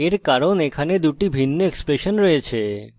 এর কারণ এখানে দুটি ভিন্ন এক্সপ্রেশন রয়েছে